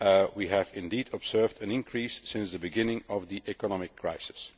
we have indeed observed an increase since the beginning of the economic crisis.